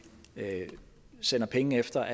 sender penge efter